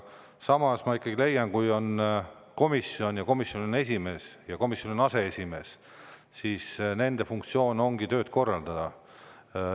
Samas ma ikkagi leian, et kui on komisjon ja komisjonil on esimees ja komisjonil on aseesimees, siis nende funktsioon ongi tööd korraldada.